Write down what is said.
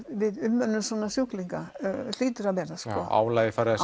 við umönnun svona sjúklinga hlýtur að vera álagið farið að